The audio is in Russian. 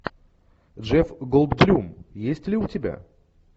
джефф голдблюм есть ли у тебя